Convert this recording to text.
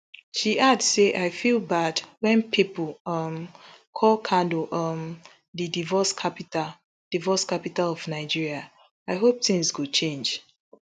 she add say i feel bad wen pipo um call kano um di divorce capital divorce capital of nigeria i hope tins go change